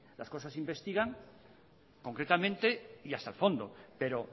las cosas se investigan concretamente y hasta el fondo pero